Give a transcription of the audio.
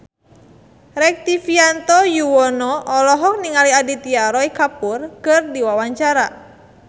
Rektivianto Yoewono olohok ningali Aditya Roy Kapoor keur diwawancara